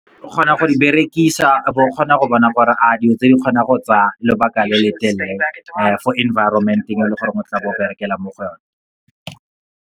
O kgona go di berekisa, o bo kgona go bona gore a dilo tse di kgona go tsa lobaka le letelele fo environment-eng e leng gore o tla bo berekela mo go yone.